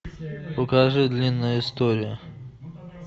покажи длинная история